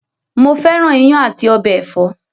Mo fẹ́ràn iyán àti ọbẹ ẹ̀fọ́.